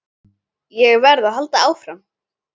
Ég verð að halda áfram.